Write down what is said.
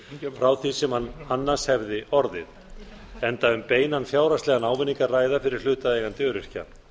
frá því sem hann annars hefði orðið enda um beinan fjárhagslegan ávinning að ræða fyrir hlutaðeigandi öryrkja